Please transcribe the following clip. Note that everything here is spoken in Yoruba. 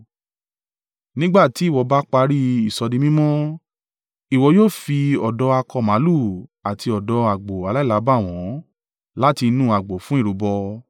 Nígbà tí ìwọ bá parí ìsọdimímọ́, ìwọ yóò fi ọ̀dọ́ akọ màlúù àti ọ̀dọ́ àgbò aláìlábàwọ́n láti inú agbo fún ìrúbọ.